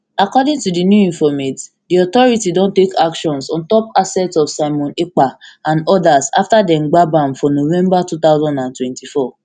according to di new informate di authority don take actions ontop assets of simon ekpa and odas afta dem gbab am for november two thousand and twenty-four